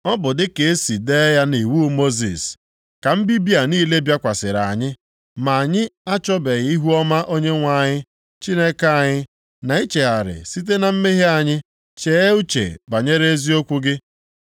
Ọ bụ dịka e si dee ya nʼiwu Mosis, ka mbibi a niile bịakwasịrị anyị, ma anyị achọbeghị ihuọma Onyenwe anyị Chineke anyị, na ichegharị site na mmehie anyị chee uche banyere eziokwu gị.